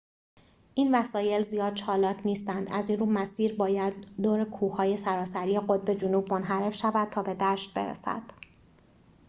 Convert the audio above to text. این وسایل زیاد چالاک نیستند از این‌رو مسیر باید دور کوه‌های سراسری قطب جنوب منحرف شود تا به دشت برسد